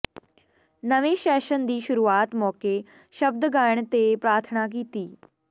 ਨਵੇਂ ਸੈਸ਼ਨ ਦੀ ਸ਼ੁਰੂਆਤ ਮੌਕੇ ਸ਼ਬਦ ਗਾਇਣ ਤੇ ਪ੍ਰਾਰਥਨਾ ਕੀਤੀ